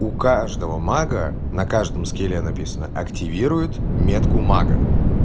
у каждого мага на каждом скилле написано активирует метку мага